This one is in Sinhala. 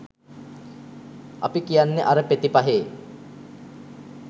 අපි කියන්නෙ අර පෙති පහේ